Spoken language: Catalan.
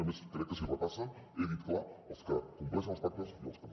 i a més crec que si ho repassen he dit clar els que compleixen els pactes i els que no